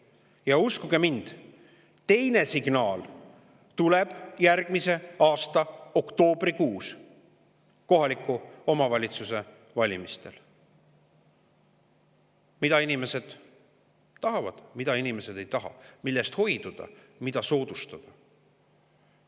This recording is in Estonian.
Ja uskuge mind, teine signaal tuleb järgmise aasta oktoobrikuus kohaliku omavalitsuse valimistel: mida inimesed tahavad, mida inimesed ei taha, millest hoiduda, mida soodustada.